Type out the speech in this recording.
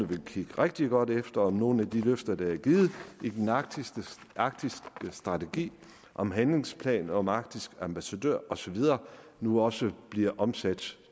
vil kigge rigtig godt efter om nogle af de løfter der er givet i den arktiske strategi om handlingsplan om arktisk ambassadør og så videre nu også bliver omsat